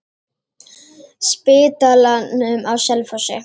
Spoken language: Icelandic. Spítalanum á Selfossi.